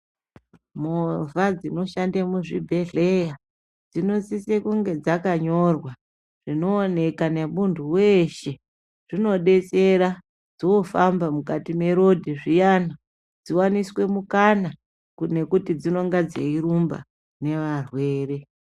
Movha dzinoshande muzvibhedhleya dzinosise kunge dzakanyorwa zvinooneka nemuntu weshe zvinodetsera dzofamba mukati mwerodhi zviyana dziwaniswe mukana kunekuti dzinenga dzeirumba nevarwere.